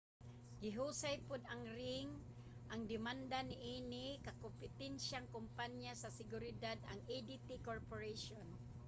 gihusay pod ang ring ang demanda niini sa kakompetensiyang kompanya sa seguridad ang adt corporation